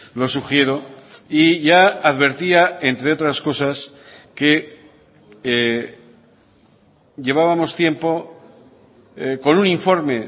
lo sugiero y ya advertía entre otras cosas que llevábamos tiempo con un informe